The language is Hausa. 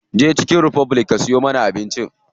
Je chicken republic ka siyo mana abinci.